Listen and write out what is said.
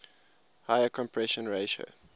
higher compression ratio